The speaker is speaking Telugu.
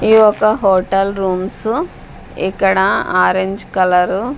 ఈ యొక్క హోటల్ రూమ్సు ఇక్కడ ఆరంజ్ కలరు --